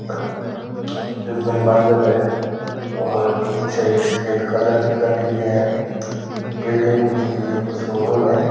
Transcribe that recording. रिबंद बांधडो है और पीछे सफ़ेद कलर की गाड़ी भी है बिल्डिंग भी दिख री है एक शोरूम है।